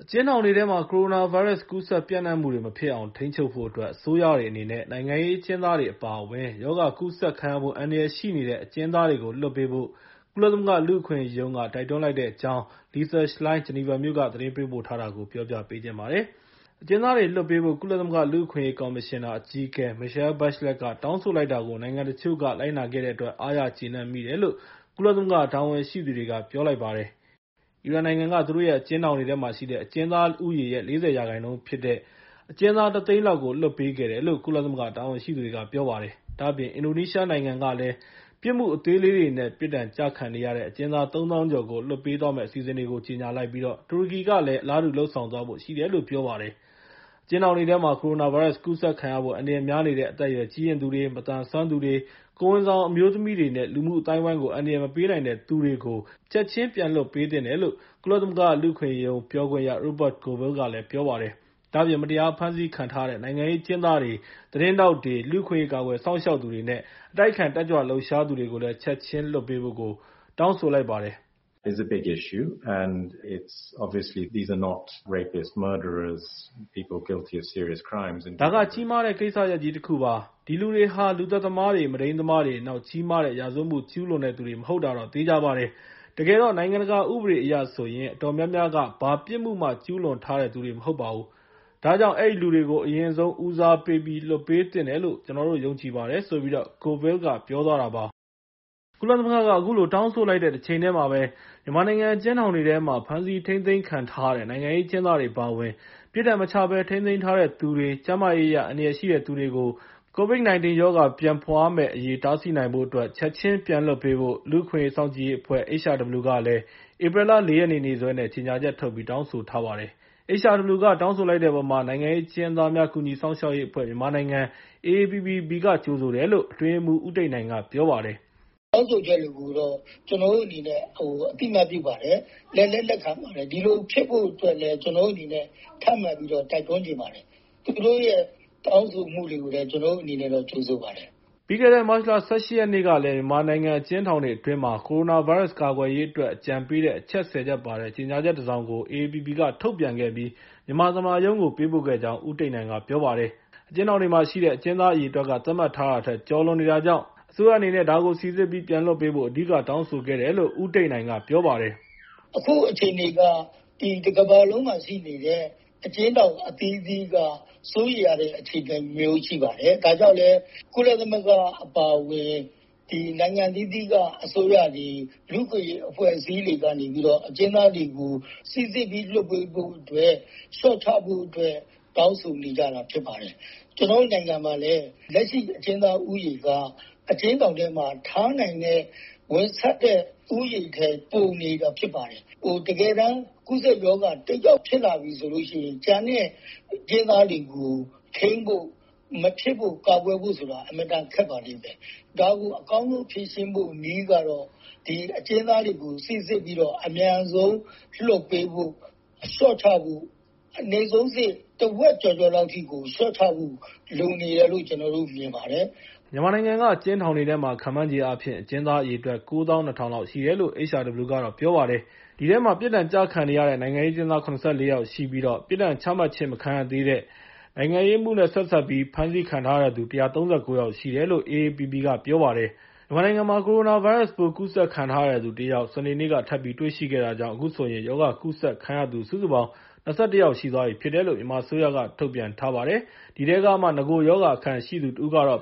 ကျဉ်းထောင်တွေထဲမှာ ကိုရိုနာဗိုင်းရပ်စ် ကူးစက်ပျံ့နှံ့မှုတွေ မဖြစ်အောင် ထိန်းချုပ်ဖို့အတွက် အစိုးရတွေအနေနဲ့ နိုင်ငံရေးအကျဉ်းသားတွေ အပါအဝင် ရောဂါကူးစက်ခံရဖို့ အန္တရာယ်ရှိနေတဲ့ အကျဉ်းသားတွေကို လွှတ်ပေးဖို့ ကုလသမဂ္ဂ လူ့အခွင့်အရေးရုံးက တိုက်တွန်းလိုက်ပါတယ်။ ဒီအကြောင်းနဲ့ ပတ်သက်ပြီး Lisa Schlein ဂျနီဗာမြို့က သတင်းပေးပို့ထားကို ကိုရန်နိုင် တင်ပြပေးထားပါတယ်။ အကျဉ်းသားတွေလွှတ်ပေးဖို့ ကုလသမဂ္ဂ လူ့အခွင့်အရေး ကော်မရှင်နာ အကြီးအကဲ Michele Bachelet’s က တောင်းဆိုလိုက်တာကို နိုင်ငံတချို့က လိုက်နာခဲ့တဲ့အတွက် အားရကျေနပ်မိတယ်လို့ ကုလသမဂ္ဂ တာဝန်ရှိသူတွေက ပြောပါတယ်။ အီရန်နိုင်ငံက သူတို့ရဲ့ အကျဉ်းထောင်တွေထဲမှာရှိတဲ့ အကျဉ်းသားဦးရေရဲ့ ၄၀ ရာခိုင်နှုန်းဖြစ်တဲ့ အကျဉ်းသား ၁ သိန်းလောက်ကို လွှတ်ပေးခဲ့တယ်လို့ ကုလသမဂ္ဂ တာဝန်ရှိသူတွေက ပြောပါတယ်။ ဒါ့အပြင် အင်ဒိုနီးရှားနိုင်ငံကလည်း ပြစ်မှုအသေးလေးတွေနဲ့ ပြစ်ဒဏ်ကျခံနေရတဲ့ အကျဉ်းသား ၃ သောင်းကျော်ကို လွှတ်ပေးသွားမယ့် အစီအစဉ်တွေကို ကြေညာလိုက်ပြီး တူရကီနိုင်ငံဘက်ကလည်း အလားတူ လုပ်ဆောင်သွားဖို့ ရှိတယ်လို့ ပြောပါတယ်။ အကျဉ်းထောင်တွေထဲမှာ ကိုရိုနာဗိုင်းရပ်စ် ကူးစက်ခံရဖို့ အန္တရာယ်များနေတဲ့ အသက်အရွယ် ကြီးရင့်သူတွေ၊ မသန်စွမ်းသူတွေ၊ ကိုယ်ဝန်ဆောင် အမျိုးသမီးတွေလိုမျိုး လူမှုအသိုင်းအဝိုင်းကို အန္တရာယ်မပေးနိုင်တဲ့သူတွေကို ချက်ချင်းပြန်လွှတ်သင့်တယ်လို့ ကုလသမဂ္ဂ လူ့အခွင့်အရေးရုံး ပြောခွင့်ရ Rupert Colville က ပြောပါတယ်။ ဒါ့အပြင် မတရားဖမ်းဆီးခံထားရတဲ့ နိုင်ငံရေးအကျဉ်းသားတွေ၊ သတင်းထောက်တွေ၊ လူ့အခွင့်အရေး ကာကွယ်စောင့်ရှောက်သူတွေနဲ့ အတိုက်အခံ တက်ကြွလှုပ်ရှားသူတွေကိုလည်း ချက်ချင်းလွှတ်ပေးဖို့ တောင်းဆိုလိုက်ပါတယ်။ "ဒါက ကြီးမားတဲ့ ကိစ္စရပ်ကြီးတခုပါ။ ဒီလူတွေဟာ လူသတ်သမားတွေ၊ မုဒိမ်းသမားတွေ၊ နောက် ကြီးမားတဲ့ ရာဇဝတ်မှု ကျူးလွန်တဲ့သူတွေ မဟုတ်တာတော့ သေချာပါတယ်။ တကယ်တော့ နိုင်ငံတကာဥပဒေအရ ဆိုရင် အတော်များများက ဘာပြစ်မှုမှ ကျူးလွန်ထားတဲ့သူတွေ မဟုတ်ပါဘူး။ ဒါကြောင့် အဲဒီလူတွေကို အရင်ဆုံး ဦးစားပေးပြီး လွှတ်ပေးသင့်တယ်လို့ ကျနော်တို့ ယုံကြည်ပါတယ်။" HRW က တောင်းဆိုလိုက်တဲ့အပေါ် နိုင်ငံရေးအကျဉ်းသားများ ကူညီစောင့်ရှောက်ရေးအဖွဲ့ မြန်မာနိုင်ငံ (AAPPB) က ကြိုဆိုတယ်လို့ အတွင်းရေးမှူး ဦးတိတ်နိုင်က ပြောပါတယ်။ “တောင်းဆိုချက်တွေကိုတော့ ကျနော်တို့အနေနဲ့ အသိအမှတ်ပြုပါတယ်။ လက်လည်း လက်ခံပါတယ်။ ဒီလိုဖြစ်ဖို့အတွက်လည်း ကျနော်တို့အနေနဲ့ ထပ်မံတိုက်တွန်းချင်ပါတယ်။ သူတို့ရဲ့ တောင်းဆိုမှုတွေကို ကျနော်တို့အနေနဲ့တော့ ကြိုဆိုပါတယ်။” ပြီးခဲ့တဲ့ မတ်လ ၁၈ ရက်နေ့ကလည်း မြန်မာနိုင်ငံ အကျဉ်းထောင်တွေအတွင်းမှာ ကိုရိုနာဗိုင်းရပ်စ် ကာကွယ်ရေးအတွက် အကြံပေးတဲ့ အချက် ၁၀ ချက်ပါတဲ့ ကြေညာချက်တစောင်ကို AAPPB က ထုတ်ပြန်ခဲ့ပြီး မြန်မာသမ္မတရုံးကိုလည်း ပေးပို့ခဲ့ကြောင်း ဦးတိတ်နိုင်က ပြောပါတယ်။ အကျဉ်းထောင်တွေမှာရှိတဲ့ အကျဉ်းသားအရေအတွက်ကလည်း သတ်မှတ်ထားတာထက် ကျော်လွန်နေတာကြောင့် အစိုးရအနေနဲ့ ဒါကို စိစစ်ပြီး ပြန်လွှတ်ဖို့ အဓိက တောင်းဆိုခဲ့တယ်လို့ ဦးတိတ်နိုင်က ပြောပါတယ်။ “အခုအခြေအနေမှာ တကမ္ဘာလုံးမှာရှိနေတဲ့ အကျဉ်းထောင် အသီးသီးက စိုးရိမ်ရတဲ့ အခြေအနေမျိုး ရှိပါတယ်။ ဒါကြောင့်လည်း ကုလသမဂ္ဂ အပါအဝင် နိုင်ငံအသီးသီးက အစိုးရတွေ လူ့အခွင့်အရေးအဖွဲ့တွေက နေပြီးတော့ အကျဉ်းသားတွေကို စိစစ်ပြီး လွှတ်ပေးဖို့အတွက်၊ လျှော့ချဖို့အတွက် တောင်းဆိုနေကြတာ ဖြစ်ပါတယ်။ ကျနော်တို့နိုင်ငံမှာလည်း လက်ရှိ အကျဉ်းသားဦးရေက အကျဉ်းထောင်ထဲမှာ ထားနိုင်တဲ့၊ ဝင်ဆန့်တဲ့ ဦးရေထက် ပိုနေတာဖြစ်ပါတယ်။ တကယ်တမ်း ကူးစက်ရောဂါ တယောက်ဖြစ်လာပြီဆိုရင် ကျန်တဲ့အကျဉ်းသားတွေကို ထိန်းဖို့၊ မဖြစ်ဖို့၊ ကာကွယ်ဖို့ဆိုတာ အင်မတန် ခက်ပါလိမ့်မယ်။ ဒါကို အကောင်းဆုံးဖြေရှင်းဖို့ နည်းကတော့ ဒီအကျဉ်းသားတွေကို စိစစ်ပြီး အမြန်ဆုံး လွှတ်ပေးဖို့၊ လျှော့ချဖို့၊ အနိမ့်ဆုံးအဆင့် တဝက်ကျော်ကျော်လောက်ထိ လျှော့ချဖို့ လိုနေတယ်လို့ မြင်ပါတယ်။” မြန်မာနိုင်ငံက အကျဉ်းထောင်တွေထဲမှာ ခန့်မှန်းချေအားဖြင့် အကျဉ်းသားအရေအတွက် ၉၂၀၀၀ လောက်ရှိတယ်လို့ HRW က ပြောပါတယ်။ အဲဒီထဲမှာ ပြစ်ဒဏ်ကျခံနေရတဲ့ နိုင်ငံရေးအကျဉ်းသား ၇၄ ယောက်ရှိပြီး ပြစ်ဒဏ်ချမှတ်ခြင်း မခံရသေးဘဲ နိုင်ငံရေးအမှုနဲ့ ဆက်စပ်ပြီး အကျဉ်းထောင်တွေထဲမှာ ဖမ်းဆီးခံထားရတဲ့သူ ၁၃၉ ယောက်ရှိတယ်လို့ AAPPB က ပြောထားပါတယ်။ မြန်မာနိုင်ငံမှာ ကိုရိုနာဗိုင်းရပ်စ်ပိုး ကူးစက်ခံထားရတဲ့သူတယောက် စနေနေ့က ထပ်မံတွေ့ရှိခဲ့တာကြောင့် အခုဆိုရင် ရောဂါကူးစက်ခံရသူ စုစုပေါင်း ၂၁ ယောက် ရှိသွားပြီလို့ မြန်မာအစိုးရက ထုတ်ပြန်ထားပါတယ်။ အဲဒီထဲကမှ နဂိုရောဂါအခံရှိသူ တဦးကတော့